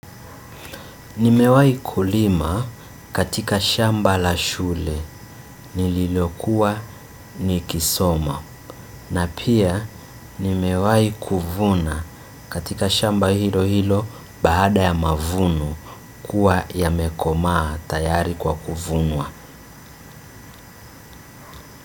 Nimewai kulima katika shamba la shule nililokuwa nikisoma na pia nimewai kuvuna katika shamba hilo hilo baada ya mavuno kuwa ya mekomaa tayari kwa kuvunwa.